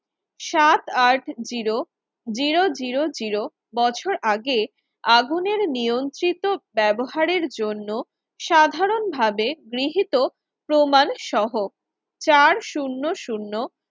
সাত আট zero zero zero zero বছর আগে আগুনের নিয়ন্ত্রিত ব্যবহারের জন্য সাধারণভাবে গৃহীত প্রমাণ সহ চার শুন্য শুন্য